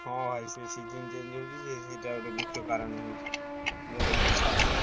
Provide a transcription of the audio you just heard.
ହଁ ଭାଇ ସେ season change ହଉଛି ସେ ସେଇଟା ଗୋଟେ ମୁଖ୍ୟ କାରଣ ହଉଚି ଜର ଫର ଛାଡ଼ୁନି।